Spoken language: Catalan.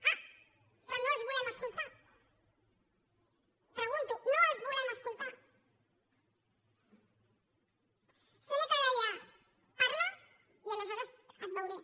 ah però no els volem escoltar ho pregunto no els volem escoltar sèneca deia parla i aleshores et veuré